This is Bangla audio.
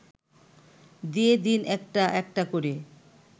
দিয়ে দিন একটা একটা করে